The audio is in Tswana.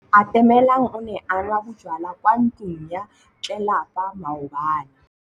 Atamelang o ne a nwa bojwala kwa ntlong ya tlelapa maobane.